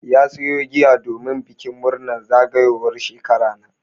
Ya sayo giya domin bikin murnar zagayowar shekara na.